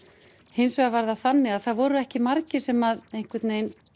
hins vegar var það þannig að það voru ekki margir sem einhvern vegin